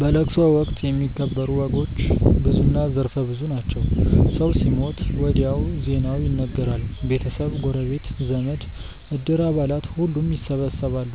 በለቅሶ ወቅት የሚከበሩ ወጎች ብዙና ዘርፈ ብዙ ናቸው። ሰው ሲሞት ወዲያው ዜናው ይነገራል። ቤተሰብ፣ ጎረቤት፣ ዘመድ፣ እድር አባላት ሁሉም ይሰበሰባሉ።